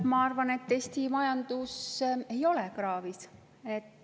Ma arvan, et Eesti majandus ei ole kraavis.